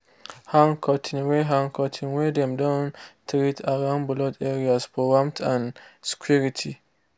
hang curtain wey hang curtain wey dem don treat around brood areas for warmth and security.